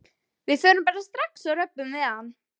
Við förum bara strax og röbbum við hann.